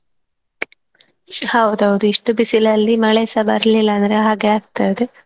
ಹೌದೌದು ಇಷ್ಟು ಬಿಸಿಲಲ್ಲಿ ಮಳೆ ಸ ಬರ್ಲಿಲ್ಲ ಅಂದ್ರೆ ಹಾಗೆ ಆಗ್ತದೆ,